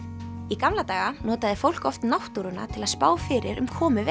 í gamla daga notaði fólk oft náttúruna til að spá fyrir um komu